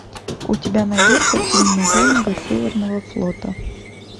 у тебя найдется фильм юнга северного флота